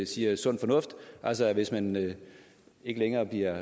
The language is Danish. siger er sund fornuft altså at hvis man ikke længere bliver